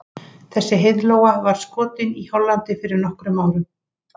Þessi heiðlóa var skotin í Hollandi fyrir nokkrum árum.